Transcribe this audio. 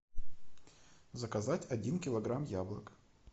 заказать один килограмм яблок